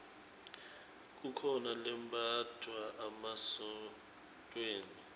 kukhona lembatfwa emasontfweni